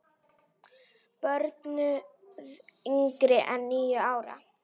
Bönnuð yngri en níu ára.